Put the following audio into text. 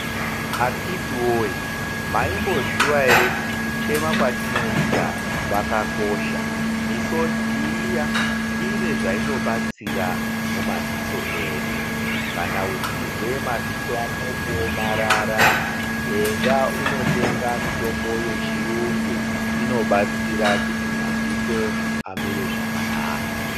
Akiti woye, maimboziwa ere kuti kuchema kwatinoita kwakakosha, misodzi iya ine zvainobatsira mumaziso edu. Kana uchizwe maziso ako kuomarara enda unotenga mitombo yechiyungu inobatsira kuti maziso amire zvakanaka.